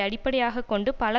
அடிப்படையாக கொண்டு பல